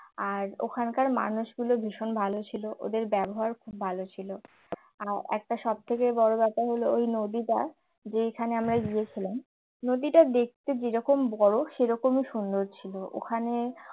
আর ওখানকার মানুষগুলো ভীষণ ভালো ছিল ওদের ব্যবহার খুব ভালো ছিল আর একটা সবথেকে বড় ব্যাপার হলো ওই নদীটা যেখানে আমরা গিয়েছিলাম নদীটা দেখতে যেরকম বড় সেরকমই সুন্দর ছিল ওখানে